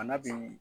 A n'a dun